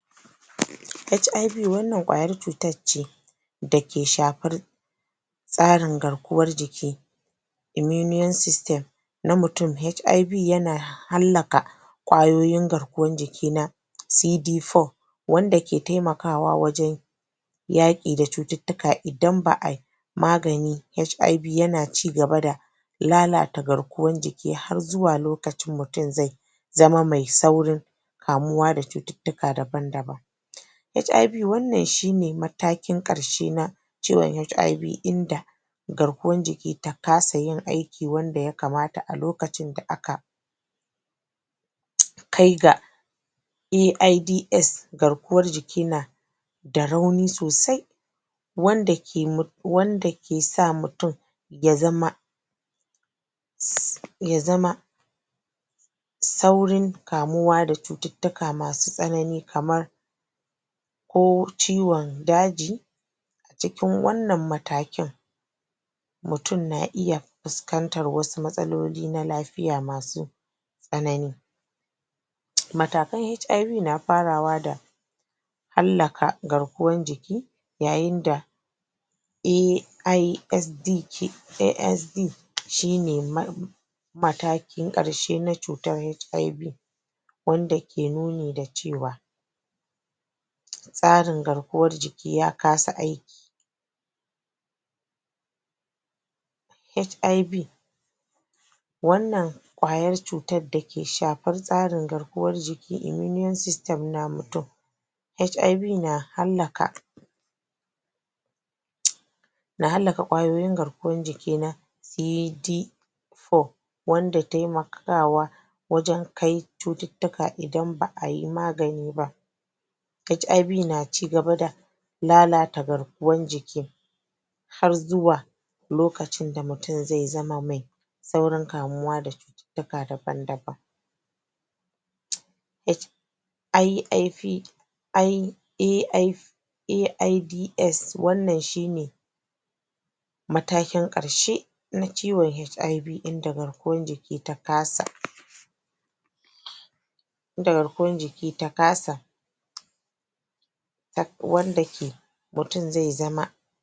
HIV wannan ƙwayar cutar ce da ke shafar tsarin garkuwan jiki immune system na mutum. HIV yana hallaka ƙwayoyin garkuwan jiki na CD4 wanda ke taimakawa wajen yaƙi da cututtuka. Idan ba ai magani HIV yana cigaba da lalata garkuwan jiki har zuwa lokacin da mutum zai zai zama mai saurin kamuwa da cututtuka daban daban. HIV wannan shine matakin karshe na ciwon HIV inda garkuwan jiki ta kasa yin aikin da ya kamata a lokacin da aka kai ga AIDS garkuwan jiki na da rauni sosai wanda ke wanda ke sa mutum ya zama ya zama saurin kamuwa da cututtuka masu tsanani kamar ko ciwon daji cikin wannan matakin mutum na iya fuskantan matsaloli na lafiya masu tsanani. Matakan HIV na farawa da hallaka garkuwan jiki yayin da AISDTKS AISDTKS shine ma matakin ƙarshe na cutar HIV wanda ke nuni da cewa tsarin garkuwan jiki na kasa aiki. HIV wannan ƙwayar da ke shafar tsarin garkuwan jiki immune system na mutum. HIV na hallaka na hallaka garkuwan jiki na AT 4 wanda ke taimakawa wajen kai cututtuka idan ba a yi magani ba. HIVna cigaba da lalata garkuwan jiki har zuwa lokacin da mutum zai zama mai saurin kamuwa da cututtuka daban daban. AI AIDS wannan shine matakin ƙarshe na ciwon HIV inda garkuwan jiki ta kasa. inda garkuwan jiki ta kasa wanda ke mutm zai zama.